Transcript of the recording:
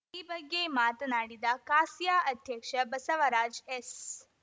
ಈ ಬಗ್ಗೆ ಮಾತನಾಡಿದ ಕಾಸಿಯಾ ಅಧ್ಯಕ್ಷ ಬಸವರಾಜ್ ಎಸ್‌